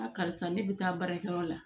karisa ne bɛ taa baarakɛyɔrɔ la